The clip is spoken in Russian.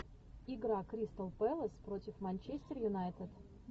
игра кристал пэлас против манчестер юнайтед